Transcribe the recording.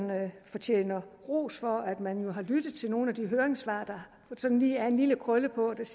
fortjener ros for at man jo har lyttet til nogle af de høringssvar der sådan lige er en lille krølle på hvor det